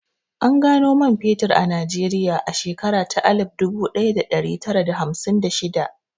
An gano man fetur a Najeriya a shekara ta alif dubu ɗaya da ɗari tara da hamsin da shidda